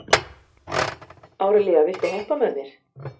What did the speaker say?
Árelía, viltu hoppa með mér?